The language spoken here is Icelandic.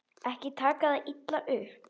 Ekki taka það illa upp.